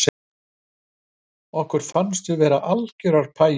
Okkur fannst við vera algerar pæjur